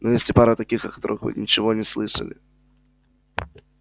но есть и пара таких о которых вы ничего не слышали